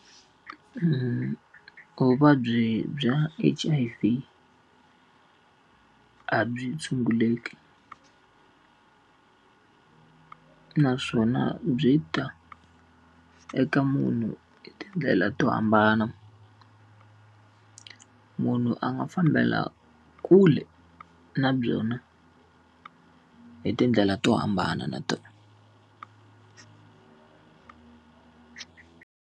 vuvabyi bya H_I_V a byi tshunguleki naswona byi ta eka munhu hi tindlela to hambana. Munhu a nga fambela kule na byona hi tindlela to hambana na .